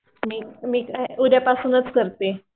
मी मी उद्या पासूनच करते.